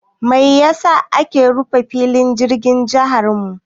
Mai ya sa aka rufe filin jirgin jiharmu?